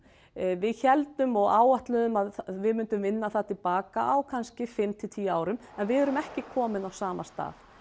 við héldum og áætluðum að við myndum vinna það til baka á kannski fimm til tíu árum en við erum ekki komin á sama stað